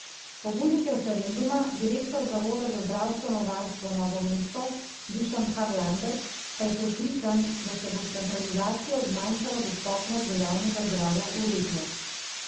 Pobudnik referenduma, direktor zavoda za zdravstveno varstvo Novo mesto, Dušan Harlander, pa je prepričan, da se bo s centralizacijo zmanjšala dostopnost do javnega zdravja v regijah.